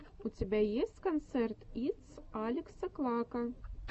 у тебя есть концерт итс алекса клака